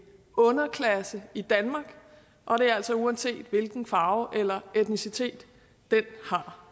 underklasse i danmark og det er altså uanset hvilken farve eller etnicitet den har